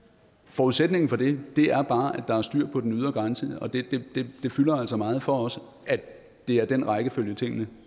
forudsætningen for det er bare at der er styr på den ydre grænse og det fylder altså meget for os at det er den rækkefølge tingene